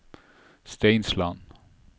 Steinsland